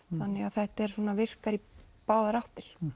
þetta virkar í báðar áttir